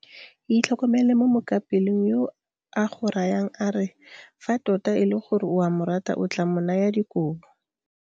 Itlhokomele mo mookapelong yo a go rayang a re fa tota e le gore o a morata o tla mo naya dikobo.